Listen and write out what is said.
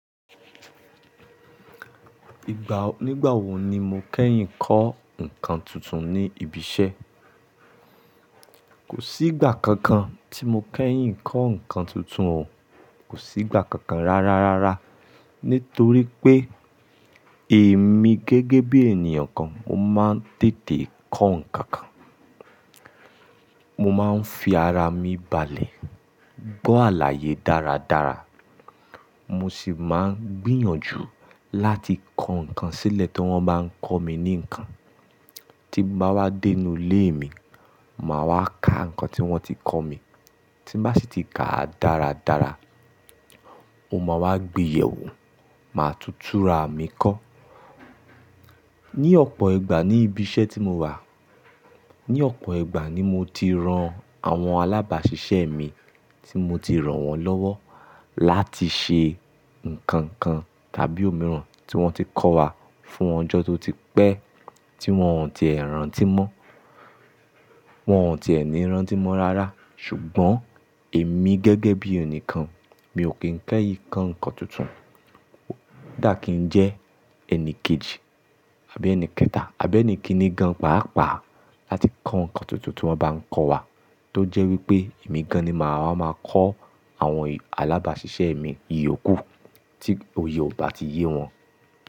Ìgbà, nígbà wo ni mo kẹ́yìn kọ́ nǹkan tuntun ní ibi iṣẹ́? Kò sí ìgbà kankan tí mo kẹ́yìn kọ́ nǹkan tuntun o. Kò sí ìgbà kankan rárá, rárá. Nítorí pé èmi gẹ́gẹ́ bí ènìyàn kan, mo máa ń tètè kọ́ nǹkan kan. Mo máa ń fi ara mi balẹ̀, gbọ́ àlàyé dáradára. Mo sì máa ń gbìyànjú láti kọ́ nǹkan sílẹ̀ tí wọ́n bá ń kọ́ mi ní nǹkan. Tí bá wá dé inú ilé mi, màá wá ka nǹkan tí wọ́n ti kọ mí. Tí bá sì ti ka a dáradára, mo máa wá gbeyẹ̀ wò, màá tutùra mi kọ́. Ni ọ̀pọ̀ ìgbà ní ibi iṣẹ́ tí mo wà, ní ọ̀pọ̀ ìgbà ni mo ti ran àwọn alábàáṣiṣẹ́ mi tí mo ti ràn wọ́n lọ́wọ́ láti ṣe nǹkan kan tàbí òmíràn tí wọ́n ti kọ́ wa fún ọjọ́ tó ti pẹ́ tí wọ́n ò tíì rántí mọ́, wọ́n ò tíì ní rántí mọ́ rárá. Ṣùgbọ́n èmi gẹ́gẹ́ bí ẹnì kan, mi ò kín kẹ́yìn kọ́ nǹkan tuntun. Ó dà kí n jẹ́ ẹni kejì àbí ẹni kẹta àbí ẹni kini gan páápàá láti kọ́ nǹkan tuntun tí wọ́n bá ń kọ wa. Tó jẹ́ wípé èmi gan-an ni màá wá máa kọ́ àwọn alábàáṣiṣẹ́ mi ìyókù tí òye ò bá ti yé wọn.